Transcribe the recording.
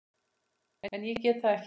En ég get það ekki.